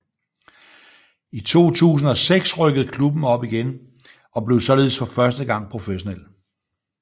I 2006 rykkede klubben igen op og blev således for første gang professionel